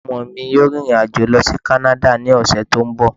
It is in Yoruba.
Ọmọ mi yóò rìrìn àjò lọ sí Kánádà ní ọ̀sẹ̀ tó ń bọ̀